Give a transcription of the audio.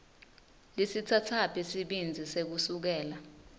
lisitsatsaphi sibindzi sekusukela